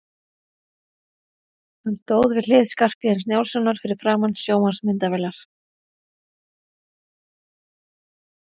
Hann stóð við hlið Skarphéðins Njálssonar fyrir framan sjónvarpsmyndavélar.